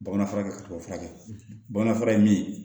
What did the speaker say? Bamanan fura kɛ kaba furakɛ bamanan fura ye min ye